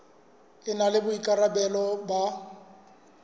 e na le boikarabelo ba